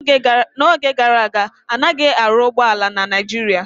N'oge gara aga, anaghị arụ ụgbọ ala na Naijiria